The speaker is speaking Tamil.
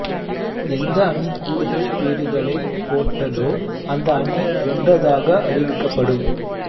எந்த அணி கூடுதல் பேறுகளைப் போட்டதோ அந்த அணி வென்றதாக அறிவிக்கப்படும்